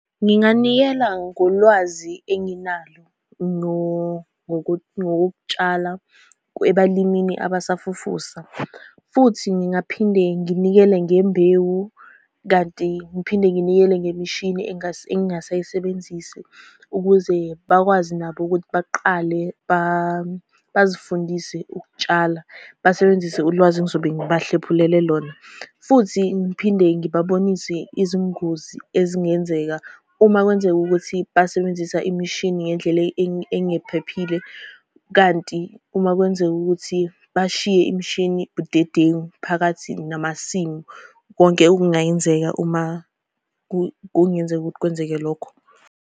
Nginganikela ngolwazi enginalo ngokokutshala ebalimini abasafufusa, futhi ngingaphinde nginikele ngembewu, kanti ngiphinde nginikele ngemishini engingasayisebenzisi, ukuze bakwazi nabo ukuthi baqale bazifundise ukutshala. Basebenzise ulwazi engizobe ngibahlephulele lona, futhi ngiphinde ngibabonise izingozi ezingenzeka uma kwenzeka ukuthi basebenzisa imishini ngendlela engephephile, kanti uma kwenzeka ukuthi bashiye imishini budedengu phakathi namasimu. Konke okungayenzeka uma kungenzeka ukuthi kwenzeke lokho.